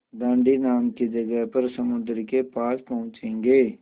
दाँडी नाम की जगह पर समुद्र के पास पहुँचेंगे